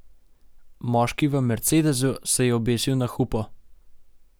Moški v mercedesu se je obesil na hupo.